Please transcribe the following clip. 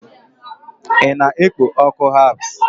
ị na-ekpo ọkụ herbs?